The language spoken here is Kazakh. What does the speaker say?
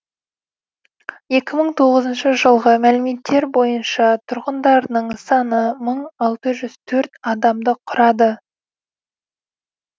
екі мың тоғызыншы жылғы мәліметтер бойынша тұрғындарының саны мың алты жүз төрт адамды құрады